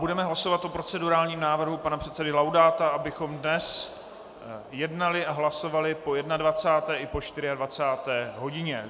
Budeme hlasovat o procedurálním návrhu pana předsedy Laudáta, abychom dnes jednali a hlasovali po 21. i po 24. hodině.